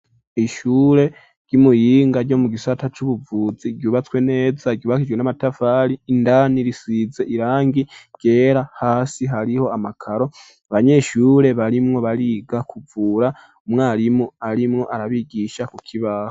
Ishure ry'i Muyinga ryo mu gisata cubuvuzi ryubatswe neza ryubakijwe n'amatavari indani risize irangi ryera hasi hariho amakaro abanyeshure barimwo bariga kuvura umwarimu arimwo arabigisha ku kibaho.